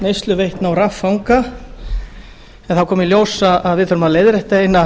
neysluveitna og raffanga en það kom í ljós að við þurfum að leiðrétta eina